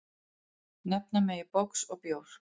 Nefna megi box og bjór.